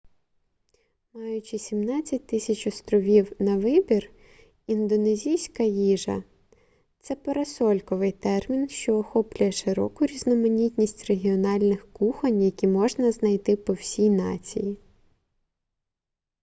маючи 17 000 островів на вибір індонезійська їжа це парасольковий термін що охоплює широку різноманітність регіональних кухонь які можна знайти по всій нації